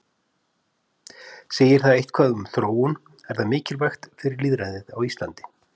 Segir það eitthvað um þróun, er það mikilvægt fyrir lýðræðið á Íslandi?